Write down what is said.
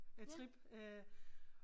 Øh trip øh